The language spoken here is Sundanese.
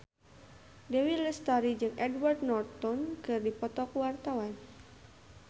Dewi Lestari jeung Edward Norton keur dipoto ku wartawan